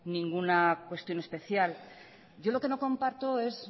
ninguna cuestión especial yo lo que no comparto es